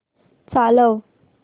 चालव